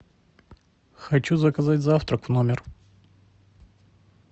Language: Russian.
хочу заказать завтрак в номер